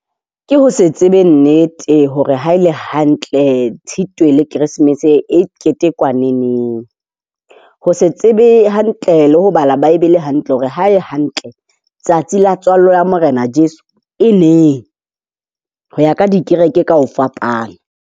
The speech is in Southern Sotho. Ke ho se tsebe nnete hore haele hantle Tshitwe le Keresemese e ketekwa neneng. Ho se tsebe hantle le ho bala bible hantle hore ha e hantle tsatsi la tswalo ya Morena Jesu e neng, ho ya ka dikereke ka ho fapana.